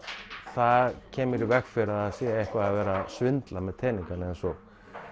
það kemur í veg fyrir að sé eitthvað verið að svindla með teningana eins og